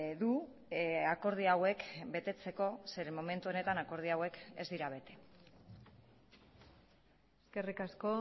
du akordio hauek betetzeko zeren momentu honetan akordio hauek ez dira bete eskerrik asko